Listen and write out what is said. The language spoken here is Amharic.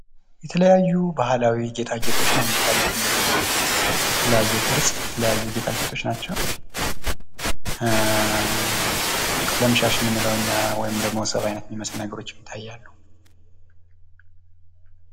የተለያዩ ባህላዊ ጌጣጌጦች ንው የሚታዩት እንግዲ የተለያየ ቅርጽ የተለይዩ ጌጣጌጦች ናቸው። ቀለም ሻሽ የምንለው እኛ ወይም ሰብ አይነት የሚመስሉ ነገሮች ይታያሉ።